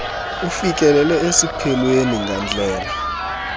ufikelele esiphelweni ngandlela